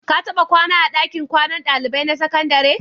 Ka taɓa kwana a ɗakin kwanan ɗalibai na sakandare?